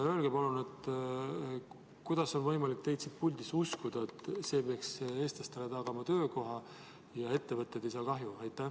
Kuidas on võimalik uskuda teie sõnu siin puldis, et see peaks eestlastele tagama töökohad ja ettevõtted ei saa kahju?